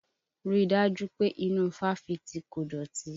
Rí dájú pé inú ifáfitì kò dọ̀tí!